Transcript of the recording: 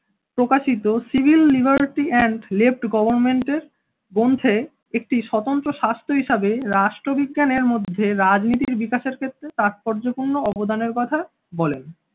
প্রকাশিত civil liberty and left government এর গ্রন্থে একটি স্বতন্ত্র স্বাস্থ্য হিসাবে রাষ্ট্রবিজ্ঞান এর মধ্যে রাজনীতির বিকাশের ক্ষেত্রে তাৎপর্যপূর্ণ অবদান এর কথা বলেন।